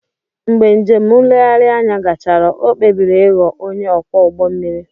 Mgbe njem nlegharị anya gachara, o kpebiri ịghọ onye ọkwọ ụgbọ mmiri